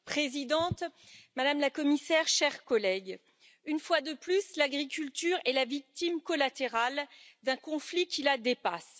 Madame la Présidente, Madame la Commissaire, chers collègues, une fois de plus, l'agriculture est la victime collatérale d'un conflit qui la dépasse.